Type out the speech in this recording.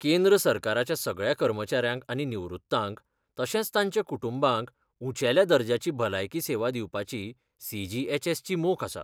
केंद्र सरकाराच्या सगळ्या कर्मचाऱ्यांक आनी निवृत्तांक, तशेंच तांच्या कुटुंबांक उंचेल्या दर्जाची भलायकी सेवा दिवपाची सी.जी.एच.एस. ची मोख आसा.